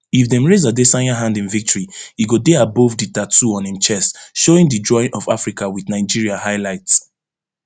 if dem raise adesanya hand in victory e go dey above di tattoo on im chest showing di drawing of africa wit nigeria highlight